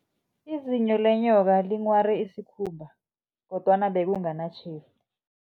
Izinyo lenyoka linghware isikhumba, kodwana bekunganatjhefu.